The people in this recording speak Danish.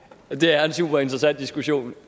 det er en superinteressant diskussion